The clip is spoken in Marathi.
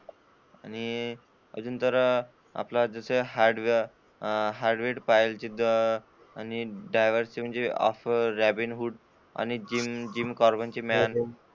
आणि अजून तर आपलं जस हार्डवेअर , राबिनहुड आणि जिम कार्बेट ची,